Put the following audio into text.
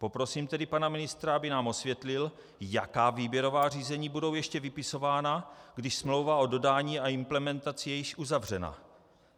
Poprosím tedy pana ministra, aby nám osvětlil, jaká výběrová řízení budou ještě vypisována, když smlouva o dodání a implementaci je již uzavřena.